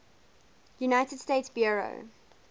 united states bureau